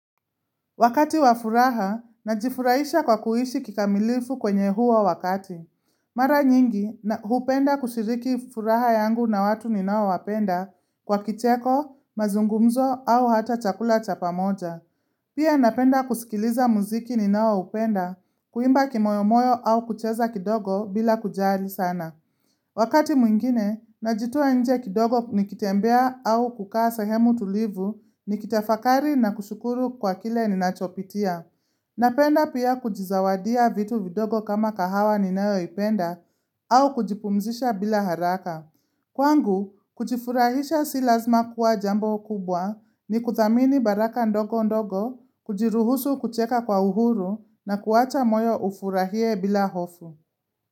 Wakati wa furaha, najifurahisha kwa kuishi kikamilifu kwenye huo wakati. Mara nyingi, hupenda kushiriki furaha yangu na watu ninaowapenda kwa kicheko, mazungumzo au hata chakula cha pamoja. Pia napenda kusikiliza muziki ninaoupenda, kuimba kimoyomoyo au kucheza kidogo bila kujali sana. Wakati mwingine, najitoa nje kidogo nikitembea au kukaa sehemu tulivu nikitafakari na kushukuru kwa kile ninachopitia. Napenda pia kujizawadia vitu vidogo kama kahawa ninayoipenda au kujipumzisha bila haraka. Kwangu, kujifurahisha si lazima kuwa jambo kubwa, ni kuthamini baraka ndogo ndogo, kujiruhusu kucheka kwa uhuru na kuwacha moyo ufurahie bila hofu.